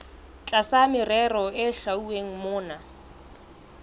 tlasa merero e hlwauweng mona